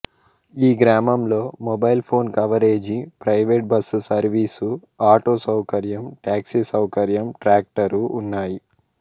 ఈ గ్రామంలో mobile phone coverage private bus service auto సౌకర్యం టాక్సీ సౌకర్యం ట్రాక్టరు ఉన్నాయి